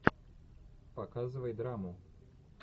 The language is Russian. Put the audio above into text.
показывай драму